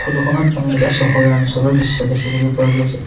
Photo খনত আমি এটা চহৰীয়া অঞ্চলৰ দৃশ্য দেখিবলৈ পোৱা গৈছে।